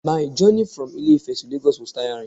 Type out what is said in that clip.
My journey from Ilé ifè to Lagos was tiring